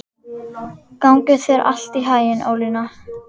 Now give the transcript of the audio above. Gangi þér allt í haginn, Ólína.